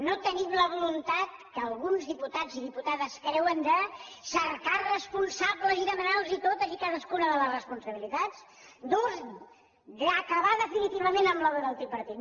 no tenim la voluntat que alguns diputats i diputades creuen de cercar responsables i demanar los totes i cadascuna de les responsabilitats d’acabar definitivament amb l’obra del tripartit